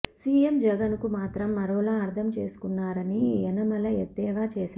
CM Jagan కు మాత్రం మరోలా అర్థం చేసుకున్నారని యనమల ఎద్దేవా చేశారు